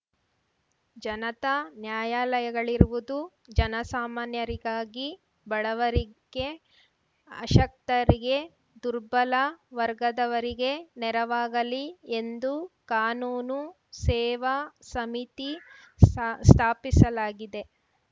ಜನತಾ ನ್ಯಾಯಲಯಗಳಿರುವುದು ಜನಸಾಮಾನ್ಯರಿಗಾಗಿ ಬಡವರಿಗೆ ಅಶಕ್ತರಿಗೆ ದುರ್ಬಲ ವರ್ಗದವರಿಗೆ ನೆರವಾಗಲಿ ಎಂದು ಕಾನೂನು ಸೇವಾ ಸಮಿತಿ ಸಾ ಸ್ಥಾಪಿಸಲಾಗಿದೆ